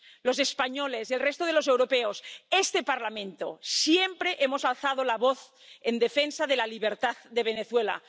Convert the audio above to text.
Los españoles y el resto de los europeos, este Parlamento, siempre hemos alzado la voz en defensa de la libertad de Venezuela.